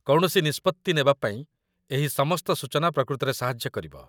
କୌଣସି ନିଷ୍ପତ୍ତି ନେବାପାଇଁ ଏହି ସମସ୍ତ ସୂଚନା ପ୍ରକୃତରେ ସାହାଯ୍ୟ କରିବ